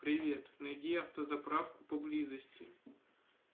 привет найди автозаправку поблизости